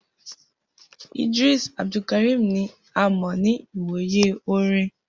Idris Abdulkarim ni a mọ ni iwoye orin.